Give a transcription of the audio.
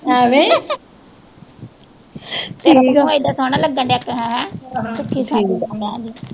ਐਵੇਂ ਈ ਤੇਰਾ ਮੂੰਹ ਏਡਾ ਸੋਹਣਾ ਲੱਗਣ ਦਿਆ ਕੇ ਕੀਤੇ ਹੈਂ